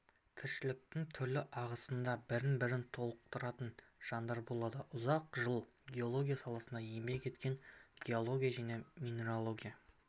тіршіліктің түрлі ағысында бір-бірін толықтыратын жандар болады ұзақ жыл геология саласында еңбек еткен геология және минерология